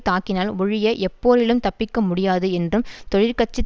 தாக்கினால் ஒழிய எப்போரிலும் தப்பிக்க முடியாது என்றும் தொழிற்கட்சி